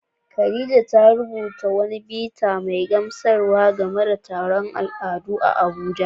Khadija ta rubuta wani bita mai gamsarwa game da taron al'adu a Abuja.